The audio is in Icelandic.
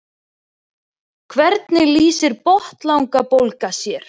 hvernig lýsir botnlangabólga sér